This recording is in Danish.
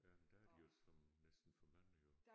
Ja men der er de jo som næsten for mange jo